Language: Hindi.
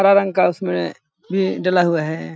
हरा रंग का उसमें भी डला हुआ है।